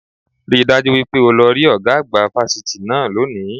Rí i dájú wípé o lọ rí ọ̀gá àgbà fásitì náà lónìí